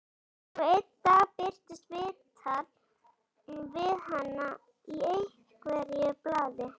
Svo einn dag birtist viðtal við hana í einhverju blaðinu.